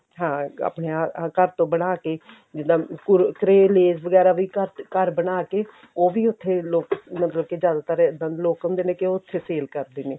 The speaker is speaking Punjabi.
ਹਾਂ ਆਪਣਾ ਇਹ ਘਰ ਤੋਂ ਬਣਾ ਕੇ ਜਿੱਦਾਂ ਕੁਰਕੁਰੇ lays ਵਗੈਰਾ ਵੀ ਘਰ ਘਰ ਬਣਾ ਕੇ ਉਹ ਵੀ ਉੱਥੇ ਲੋਕ ਮਤਲਬ ਕੇ ਜ਼ਿਆਦਾਤਰ ਦ ਲੋਕ ਸਮਝਦੇ ਨੇ ਕੀ ਉਹ ਉੱਥੇ sale ਕਰਦੇ ਨੇ